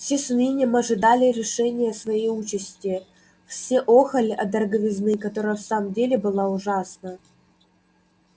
все с унынием ожидали решения своей участи все охали от дороговизны которая в самом деле была ужасна